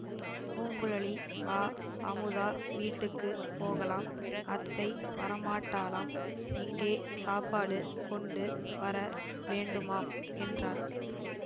பூங்குழலி வா அமுதா வீட்டுக்கு போகலாம் அத்தை வரமாட்டாளாம் இங்கே சாப்பாடு கொண்டு வர வேண்டுமாம் என்றாள்